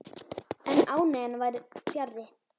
En ánægjan var fjarri.